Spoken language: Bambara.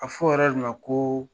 A fɔ o yɔrɔ de ko